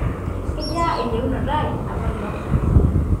kejaa eyieunata ai iapailong'